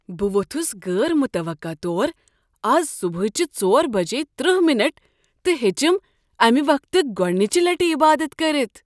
بہٕ ووٚتھس غٲر متوقع طور از صبحٲچہ ژور بجے تٕرٛہ منٹ تہٕ ہیچِم امہ وقتہٕ گۄڈنچہ لٹہ عبادت كٔرِتھ